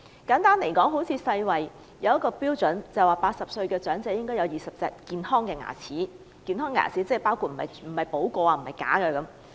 根據世界衞生組織的標準 ，80 歲的長者應該有20隻健康的牙齒，不包括補過的牙和假牙。